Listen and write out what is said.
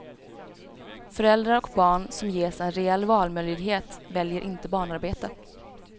Föräldrar och barn som ges en reell valmöjlighet väljer inte barnarbete.